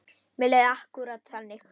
Mér leið akkúrat þannig.